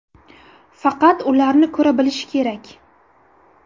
Faqat ularni ko‘ra bilish kerak.